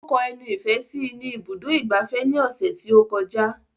Ó kọ ẹnu ìfẹ́ sí i ní ibùdó ìgbafẹ́ ní ọ̀sẹ̀ tí ó kọjá